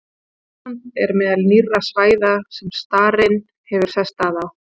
Ísland er meðal nýrra svæða sem starinn hefur sest að á.